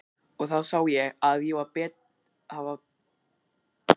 Og þá sá ég að það var bara eitt að gera.